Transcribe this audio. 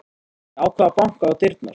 Ég ákvað að banka á dyrnar.